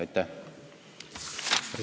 Aitäh!